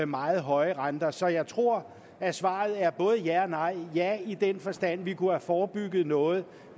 meget høje renter så jeg tror at svaret er både ja og nej ja i den forstand at vi kunne have forebygget noget